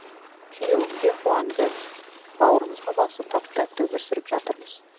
күйеуім де қуанды бауырымызға басып тату тәтті өмір сүріп жатырмыз